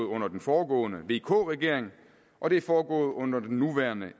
under den foregående vk regering og det er foregået under den nuværende